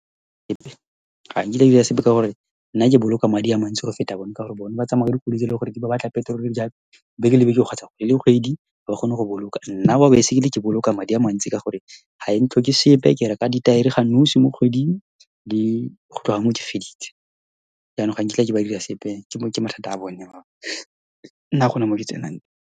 Ga nkitla ke dira sepe, ka gore nna ke boloka madi a mantsi go feta bone, ka gore bone ba tsamaya ka dikoloi tse ele gore di ba batla petrol, beke le beke kgotsa kgwedi le kgwedi. Ha ba kgone go boloka. Nna wa baesekele, ke boloka madi a mantsi ka gore ha e ntlhoke sepe. Ke reka ditaere ga nosi mo kgweding, gotloga moo ke feditse. Jaanong ga nkitla ke ba dira sepe, ke mathata a bone . Nna ha gona mo ke tsenang.